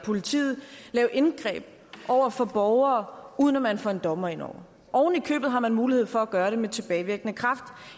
politiet lave indgreb over for borgere uden at man får en dommer ind over oven i købet har man mulighed for at gøre det med tilbagevirkende kraft